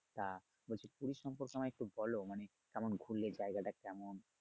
তা বলছি পুরি সম্পর্কে আমায় একটু বলো মানে কেমন ঘুরলে? জায়গাটা কেমন?